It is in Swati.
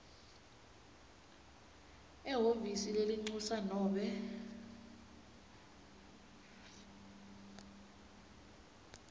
ehhovisi lelincusa nobe